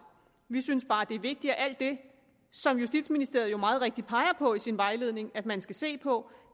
vi synes bare at det er vigtigt at alt det som justitsministeriet meget rigtigt peger på i sin vejledning at man skal se på